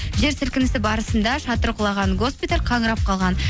жер сілкінісі барысында шатыры құлаған госпиталь қаңырап қалған